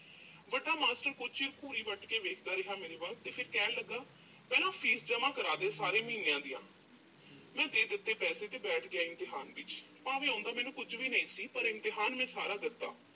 ਵੱਡਾ ਮਾਸਟਰ ਕੁਝ ਚਿਰ ਘੂਰੀ ਵੱਟ ਕੇ ਦੇਖਦਾ ਰਿਹਾ ਮੇਰੇ ਵੱਲ ਤੇ ਫਿਰ ਕਹਿਣ ਲੱਗਾ। ਕਹਿੰਦਾ fee ਜਮ੍ਹਾਂ ਕਰਾ ਦਿਓ, ਸਾਰੇ ਮਹੀਨਿਆਂ ਦੀਆਂ। ਮੈਂ ਦੇ ਦਿੱਤੇ ਪੈਸੇ ਤੇ ਬੈਠ ਗਿਆ ਇਮਤਿਹਾਨ ਵਿੱਚ ਭਾਵੇਂ ਆਉਂਦਾ ਮੈਨੂੰ ਕੁਝ ਵੀ ਨਹੀਂ ਸੀ, ਪਰ ਇਮਤਿਹਾਨ ਮੈਂ ਸਾਰਾ ਦਿੱਤਾ।